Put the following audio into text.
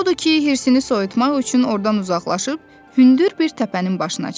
Odur ki, hirsini soyutmaq üçün ordan uzaqlaşıb hündür bir təpənin başına çıxdı.